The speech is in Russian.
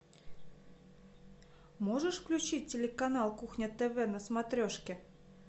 можешь включить телеканал кухня тв на смотрешке